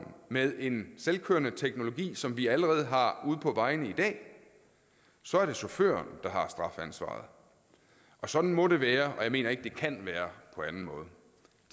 med en selvkørende teknologi som vi allerede har ude på vejene i dag så er det chaufføren der har strafansvaret sådan må det være og jeg mener ikke det kan være på anden måde